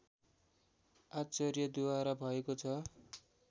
आचार्यद्वारा भएको छ